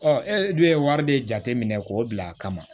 e dun ye wari de jate minɛ k'o bila a kama